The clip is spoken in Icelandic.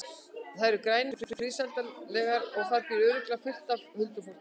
Þær eru grænar og friðsældarlegar og þar býr örugglega fullt af huldufólki.